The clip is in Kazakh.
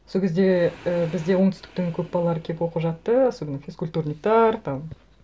сол кезде і бізде оңтүстіктің көп балалары келіп оқып жатты особенно физкультурниктар там